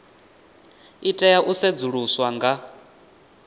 i tea u sedzuluswa nga